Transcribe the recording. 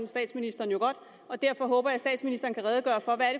statsministeren jo godt derfor håber jeg at statsministeren kan redegøre for hvad